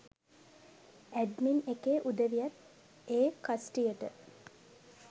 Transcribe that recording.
“admin” එකේ උදවියත් ඒ කස්ටියට